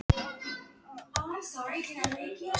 Þess í stað töluðu þau og drukku vín og sungu.